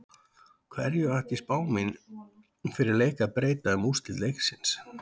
Hverju ætti spá mín fyrir leik að breyta um úrslit leiksins?